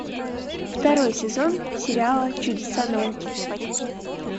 второй сезон сериала чудеса науки